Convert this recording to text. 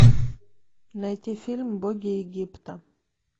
найти фильм боги египта